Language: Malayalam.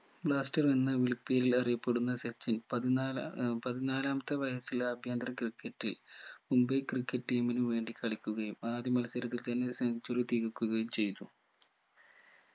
blaster എന്ന വിളിപ്പേരിൽ അറിയപ്പെടുന്ന സച്ചിൻ പതിനാലാ ഏർ പതിനാലാമത്തെ വയസിൽ ആഭ്യന്തര ക്രിക്കറ്റിൽ മുംബൈ ക്രിക്കറ്റ് team നു വേണ്ടി കളിക്കുകയും ആദ്യ മത്സരത്തിൽ തന്നെ centuary തികക്കുകയും ചെയ്തു